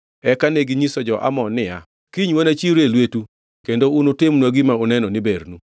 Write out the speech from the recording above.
Eka neginyiso jo-Amon niya, “Kiny wanachiwre e lwetu kendo unutimnwa gima uneno ni bernu.”